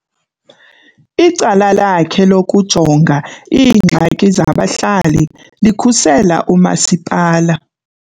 Icala lakhe lokujonga iingxaki zabahlali likhusela umasipala.